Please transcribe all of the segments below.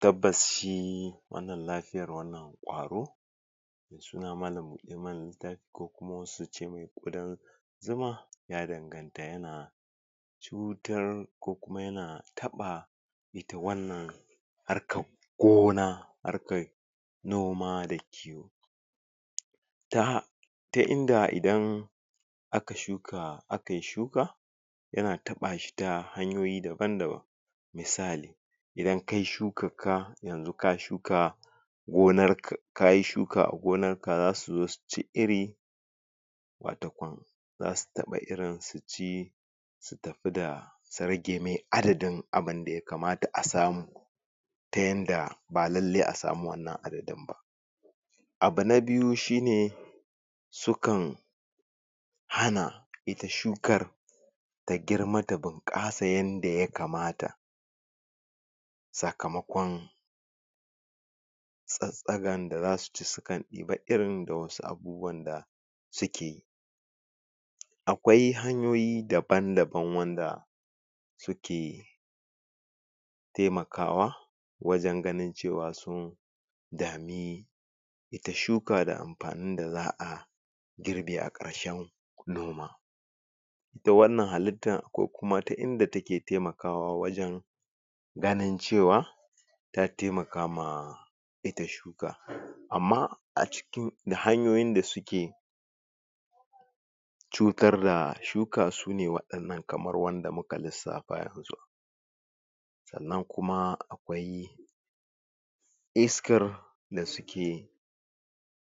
tabbas shi wannan lafiyar wannan ƙwaro mai suna malan buɗe mana littafi ko kum wasu suce mai ƙudan zuma ya danganta yana cutar ko kuma yana taɓa ita wannan harkar gona harkar noma da kiwo? ta ta inda idan aka shuka akayi shuka yana taɓa shi ta hanyoyi daban daban misali idan kayi shukar ka yanzu ka shuka gonar ka kayi shuka a gonar ka zasu zo su ci iri watakwan zasu taɓa irin su ci su tapi da su rage mai adadin abinda yakamata a samu ta yanda ba lallai a samu wannan adadin ba abu na biyu shine su kan hana ita shukar ta girma ta ɓunƙasa yanda yakamata sakamakon tsattsagan da zasu ci su kan ɗiba irin da wasu abubuwan da su ke akwai hanyoyi daban daban wanda su ke taimakawa wajen ganin cewa sun dami ita shuka da ampanin da za'a girbe a ƙarshen noma ita wannan halittan akwai kuma ta inda take taimakawa wajen ganin cewa ta taimaka ma ita shuka amma a cikin da hanyoyin da suke cutar da shuka su ne waɗannan kamar wanda muka lissafa yanzu sannan kuma akwai iskar da suke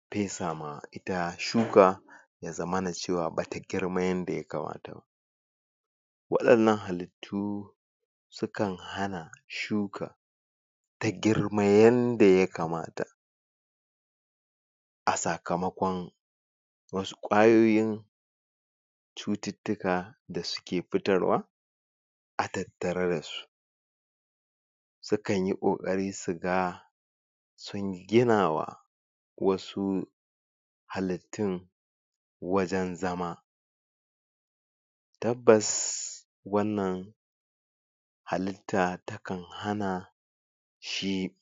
pesa ma ita shuka ya zama cewa bata girma yanda yakamata ba waɗannan halittu su kan hana shuka ta girma yanda yakamata a sakamakon wasu ƙwayoyin cututtuka da suke pitarwa a tattare dasu su kanyi ƙoƙari su ga sun gina wa wasu halittun wajen zama tabbas wannan halitta ta kan hana shi